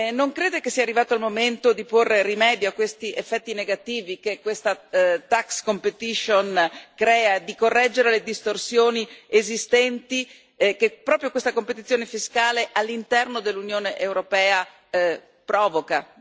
Non crede che sia arrivato il momento di porre rimedio a questi effetti negativi che questa tax competition crea, di correggere le distorsioni esistenti, che proprio questa competizione fiscale all'interno dell'Unione europea provoca?